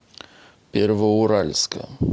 первоуральска